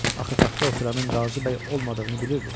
Axı taxta oturanın Qazi bəy olmadığını bilirdi.